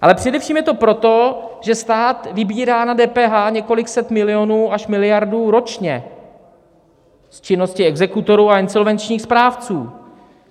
Ale především je to proto, že stát vybírá na DPH několik set milionů až miliardu ročně z činnosti exekutorů a insolvenčních správců.